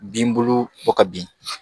Binbolo bɔ ka bin